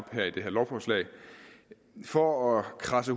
med det her lovforslag for at kradse